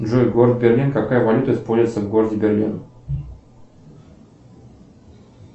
джой город берлин какая валюта используется в городе берлин